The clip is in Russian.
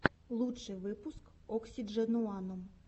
лучший выпуск оксидженуанум